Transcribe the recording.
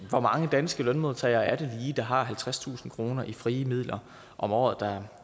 hvor mange danske lønmodtagere er det lige der har halvtredstusind kroner i frie midler om året der